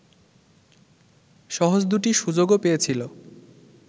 সহজ দুটি সুযোগও পেয়েছিল